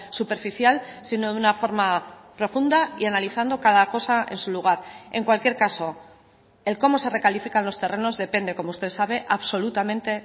superficial sino de una forma profunda y analizando cada cosa en su lugar en cualquier caso el cómo se recalifican los terrenos depende como usted sabe absolutamente